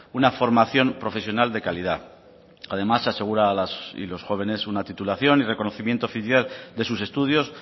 una formación profesional de calidad además asegura a las y los jóvenes una titulación y reconocimiento oficial de sus estudios